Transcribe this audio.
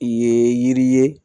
I ye yiri ye